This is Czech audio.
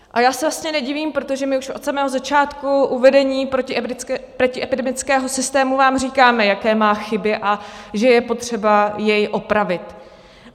A já se vlastně nedivím, protože my už od samého začátku uvedení protiepidemického systému vám říkáme, jaké má chyby a že je potřeba jej opravit.